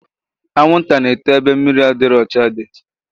Anwụnta na-eto ebe mmiri adịrọ ọcha dị